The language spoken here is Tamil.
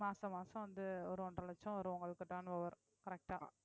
மாசம் மாசம் வந்து ஒரு ஒன்றரை லட்சம் வரும் உங்களுக்கு turn over correct ஆ